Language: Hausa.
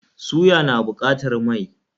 Suya na buƙatar mai.